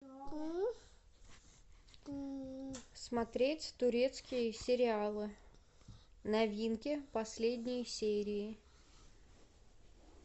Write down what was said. смотреть турецкие сериалы новинки последние серии